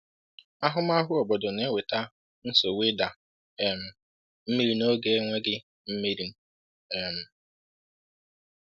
Ahụmahụ obodo na-eweta nsogbu ịda um mmiri n’oge enweghị mmiri.” um